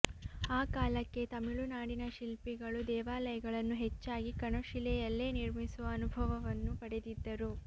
ಆ ಕಾಲಕ್ಕೆ ತಮಿಳುನಾಡಿನ ಶಿಲ್ಪಿಗಳು ದೇವಾಲಯಗಳನ್ನು ಹೆಚ್ಚಾಗಿ ಕಣಶಿಲೆಯಲ್ಲೇ ನಿರ್ಮಿಸುವ ಅನುಭವವನ್ನು ಪಡೆದಿದ್ದರು